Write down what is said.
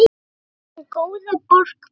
Gerum góða borg betri.